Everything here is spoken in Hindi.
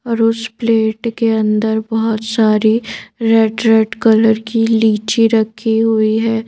और उस प्लेट के अंदर बहुत सारी रेड-रेड कलर की लीची रखी हुई है।